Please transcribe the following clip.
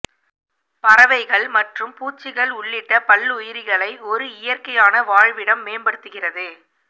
பறவைகள் மற்றும் பூச்சிகள் உள்ளிட்ட பல்லுயிரிகளை ஒரு இயற்கையான வாழ்விடம் மேம்படுத்துகிறது